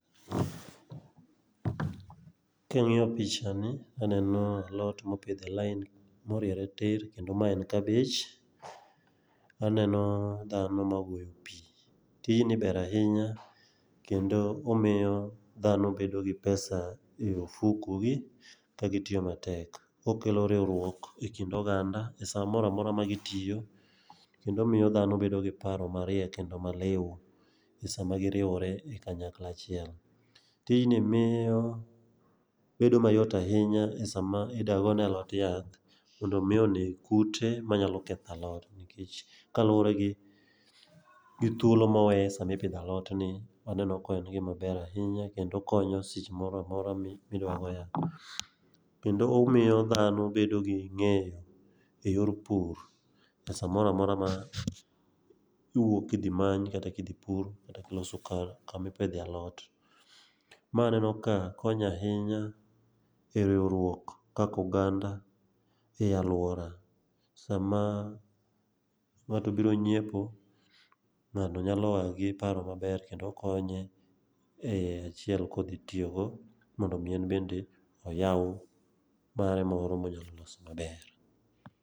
Kang'iyo picha ni, aneno alot mopidh e lain moriere tir kendo mae en kabej. Aneno dhano magoyo pi, tijni ber ahinya kendo omiyo dhano bedo gi pesa ie ofukogi kagitiyo matek. Okelo riwruok e kind oganda e sa mora mora ma gitiyo, kendo miyo dhano bedo gi paro mariek kendo maliw e sama giriwo e kanyakla achiel. Tijni miyo bedo mayot ahinya e sama ida gone alot yath mondo omi oneg kute manyalo ketho alot, nikech kalure gi thuolo mowe sami pidho alotni, aneno ka en gimaber ahinya kendo okonyo seche moro amora midwa go yath. kendo omiyo dhano bedo gi ng'eyo e yor pur e samora mora ma iwuok idhi many kata kidhi pur kata kiloso kama ipidhe alot, ma aneno ka konyo ahinya e riwruok kaka oganda e alwora. Sama ng'ato biro nyiepo, ng'ato nyalo a gi paro maber kendo konye e achiel kodhi tiyogo mondo omi en bende oyaw mare moro monyalo loso maber.